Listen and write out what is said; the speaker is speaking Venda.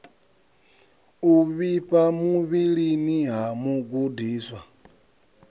u vhifha muvhilini ha mugudiswa